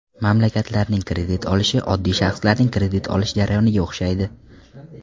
Mamlakatlarning kredit olishi oddiy shaxslarning kredit olish jarayoniga o‘xshaydi.